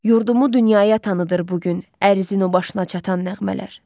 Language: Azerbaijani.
Yurdumu dünyaya tanıtır bu gün ərzinin o başına çatan nəğmələr.